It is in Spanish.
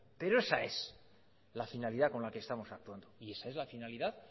pero esa es la finalidad con la que estamos actuando y esa es la finalidad